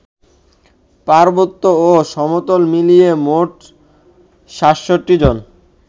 পার্বত্য ও সমতল মিলিয়ে মোট ৬৭ জন